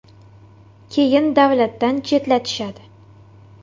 Keyin davlatdan chetlatishadi.